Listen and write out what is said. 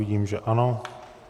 Vidím, že ano.